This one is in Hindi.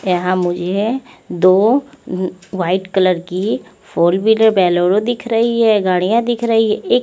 यहाँ मुझे दो उम्म वाइट कलर की फोर व्हीलर बोलोरो दिख रही है गाड़ियाँ दिख रही है एक--